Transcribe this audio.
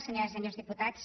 senyores i senyors diputats